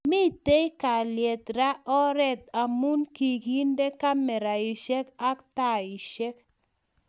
Mitei kalyet reng oret amu kikende kameraishek and taishek